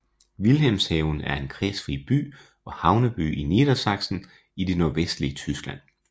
Wilhelmshaven er en kredsfri by og havneby i Niedersachsen i det nordvestlige Tyskland